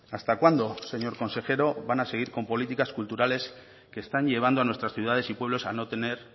hasta cuándo señor consejero van a seguir con políticas culturales que están llevando a nuestras ciudades y pueblos a no tener